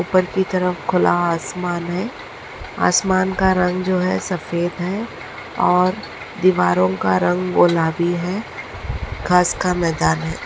ऊपर की तरफ खुला आसमान है आसमान का रंग जो है सफ़ेद है और दीवारों का रंग गुलाबी है घास का मैदान है।